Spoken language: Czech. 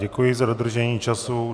Děkuji za dodržení času.